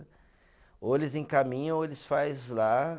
Ou eles encaminham, ou eles faz lá.